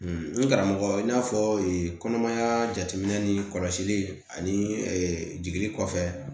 n karamɔgɔ i n'a fɔ kɔnɔmaya jateminɛ ni kɔlɔsili ani jiginni kɔfɛ